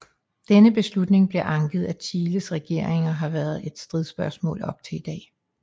Denne beslutning blev anket af Chiles regering og har været et stridsspørgsmål op til i dag